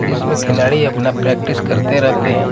इसमें खिलाड़ी अपना प्रैक्टिस करते रहते हैं।